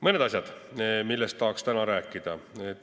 Mõned asjad, millest tahaksin täna rääkida.